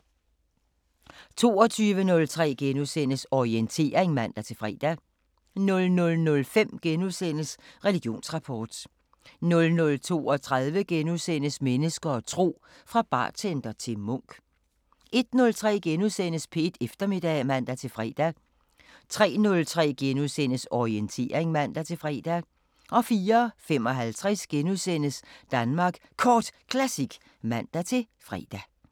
22:03: Orientering *(man-fre) 00:05: Religionsrapport * 00:32: Mennesker og tro: Fra bartender til munk * 01:03: P1 Eftermiddag *(man-fre) 03:03: Orientering *(man-fre) 04:55: Danmark Kort Classic *(man-fre)